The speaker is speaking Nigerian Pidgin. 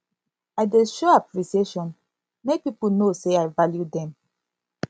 i dey show appreciation make pipo know say i value dem